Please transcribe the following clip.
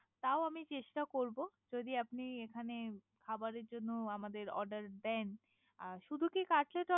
তাও আমি চেষ্টা করবে। যদি আপনি এখানে খাবারের জন্য আমাদের Order দেন। শুদু কি Cutler Order ।